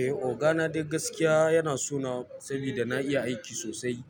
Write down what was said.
Eh oga na dai gaskiya yana so na sabida na iya aiki sosai.